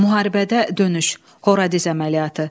Müharibədə dönüş: Horadiz əməliyyatı.